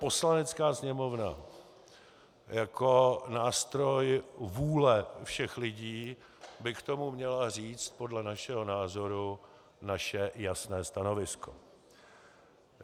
Poslanecká sněmovna jako nástroj vůle všech lidí by k tomu měla říct podle našeho názoru naše jasné stanovisko.